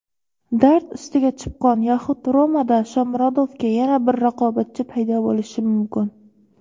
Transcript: "Dard ustiga chipqon" yoxud "Roma"da Shomurodovga yana bir raqobatchi paydo bo‘lishi mumkin.